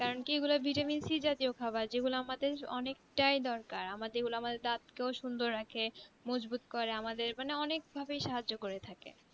curentry vitamin C জাতীয় খাবার যেগুলো আমাদের অনেক টাই দরকার যে গুলো আমাদের দাঁত কে সুন্দুর রাখে মজবুত রাখে এগুলো পিনাক ভাবে সাহায্য করে থাকে